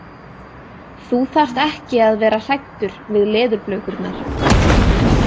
Þú þarft ekki að vera hræddur við leðurblökurnar.